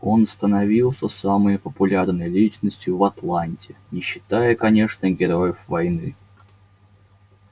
он становился самой популярной личностью в атланте не считая конечно героев войны